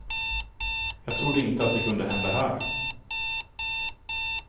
Jag trodde inte att det kunde hända här.